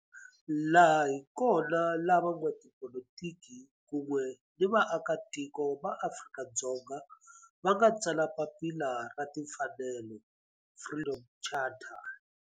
Laha hi kona la van'watipolitiki kun'we ni vaaka tiko va Afrika-Dzonga va nga tsala papila ra timfanelo, Freedom Charter.